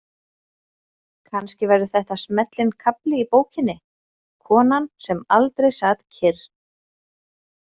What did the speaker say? Kannski verður þetta smellinn kafli í bókinni: konan sem aldrei sat kyrr.